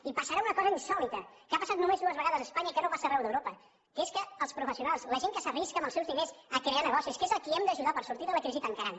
i passarà una cosa insòlita que ha passat només dues vegades a espanya i que no passa arreu d’europa que és que els professionals la gent que s’arrisca amb els seus diners a crear negocis que és a qui hem d’ajudar per sortir de la crisi tancaran